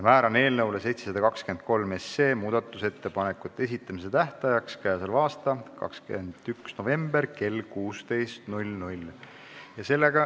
Määran eelnõu 723 muudatusettepanekute esitamise tähtajaks k.a 21. novembri kell 16.